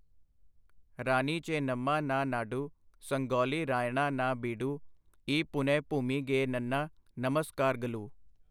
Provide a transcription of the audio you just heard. ਰਾਨੀ ਚੇਨੰਮਾ ਨਾ ਨਾਡੁ, ਸੰਗੋੱਲੀ ਰਾਯੱਣਾ ਨਾ ਬੀਡੂ, ਈ ਪੁਨਯ ਭੂਮੀ ਗੇ ਨੰਨਾ ਨਮਸਕਾਰਗਲੂ!